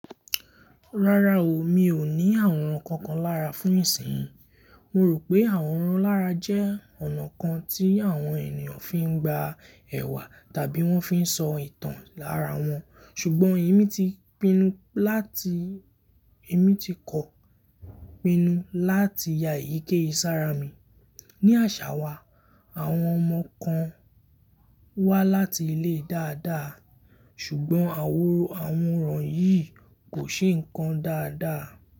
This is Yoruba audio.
Rárá o, mi ò ní àwòrán kankan lára fún ìsìnyín. Mo rò pé àwòrán lára jẹ́ ọ̀nà kan tí àwọn ènìyàn fi ń gba ẹ̀wà tàbí wón fi ń sọ ìtàn lára wọn. Ṣùgbọ́n èmi ti pinnu láti, èmi ti kọ pinnu láti ya èyíkeyi si ára mi. Ni àṣà wa, àwọn ọmọ kan wá láti ilé dáadáa, ṣùgbọ́n àwòrán yìí kò ṣe nǹkan dáadáa.